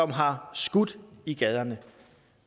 har skudt i gaderne